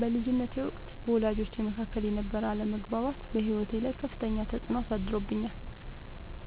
በልጅነቴ ወቅት በወላጆቼ መካከል የነበረ አለመግባባት በሕይወቴ ላይ ከፍተኛ ተፅዕኖ አሳድሮብኛል።